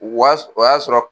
o y'a sɔrɔ.